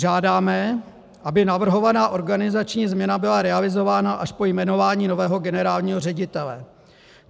Žádáme, aby navrhovaná organizační změna byla realizována až po jmenování nového generálního ředitele.